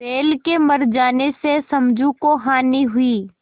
बैल के मर जाने से समझू को हानि हुई